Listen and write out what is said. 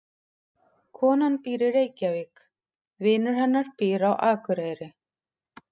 Konan býr í Reykjavík. Vinur hennar býr á Akureyri.